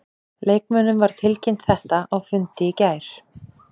Leikmönnum var tilkynnt þetta á fundi í gær.